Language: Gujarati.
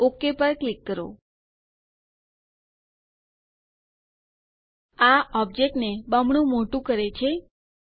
ઓક પર ક્લિક કરો આ ઓબ્જેક્ટ ને બમણું મોટું કરે છે